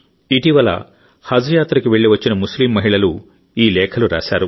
ఇటీవల హజ్ యాత్రకు వెళ్ళివచ్చిన ముస్లిం మహిళలు ఈ లేఖలు రాశారు